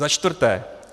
Za čtvrté.